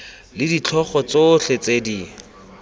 le ditlhogo tsotlhe tse di